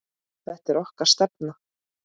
Þetta er okkar stefna.